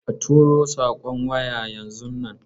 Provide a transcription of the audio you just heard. A turo saƙon waya yanzun nan.